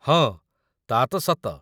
ହଁ, ତା' ତ' ସତ